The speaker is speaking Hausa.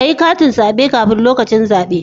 Kayi katin zabe kafin lokacin zabe